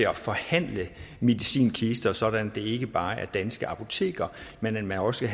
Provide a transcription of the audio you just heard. at forhandle medicinkister sådan at det ikke bare er danske apoteker men også